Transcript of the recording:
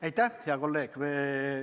Aitäh, hea kolleeg!